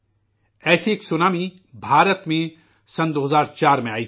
ایسی ایک سونامی ہندوستان میں 2004 میں آئی تھی